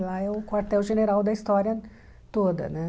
Lá é o quartel general da história toda, né?